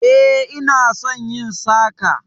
E, ina son yin saka